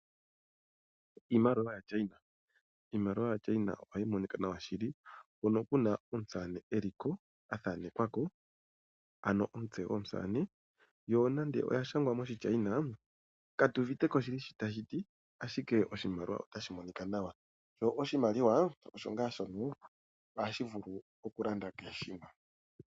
Iimaliwa yaChina. Iimaliwa yaChina oha yi monika nawa shili. Hono kuna omusamane eliko athanekwa ko. Ano omutse gwomusane. Yo nando oya shangwa moshiChina katu uviteko shili shi tashi ti. Ashike oshimaliwa otashi monika nawa. Sho oshimaliwa osho ngaa shono ohashi vulu oku landa kehe shimwe.